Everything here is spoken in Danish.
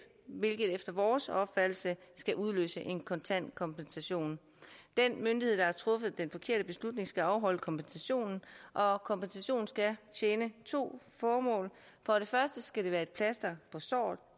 hvilket efter vores opfattelse skal udløse en kontant kompensation den myndighed der har truffet den forkerte beslutning skal afholde kompensationen og kompensationen skal tjene to formål for det første skal det være et plaster på såret